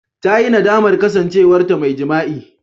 Ta yi nadamar kasancewarta mai jima'i.